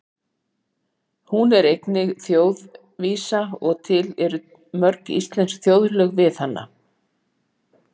Hún er einnig þjóðvísa og til eru mörg íslensk þjóðlög við hana.